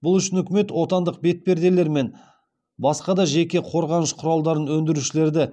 бұл үшін үкімет отандық бетперделер мен басқа да жеке қорғаныш құралдарын өндірушілерді